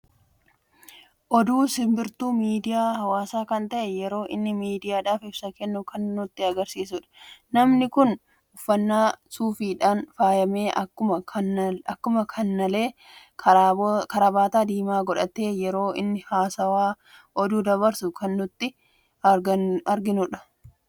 Oduu simbirtuu miidiyaa hawaasa kan ta'e yeroo inni miidiyaadhaf ibsa kennu kan nutti agarsiisuudha. Namni kun uffanna suufiidhan faayame akkuma kanallee karaabata diima godhate yeroo inni haawaasaf oduu dabarsuu kan nuti arginudha.